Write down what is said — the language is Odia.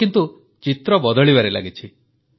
ଏବେ କିନ୍ତୁ ଚିତ୍ର ବଦଳିବାରେ ଲାଗିଛି